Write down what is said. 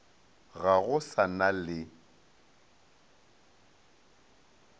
ga go sa na le